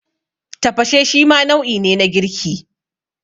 Tafashe shima nau'i ne na girki.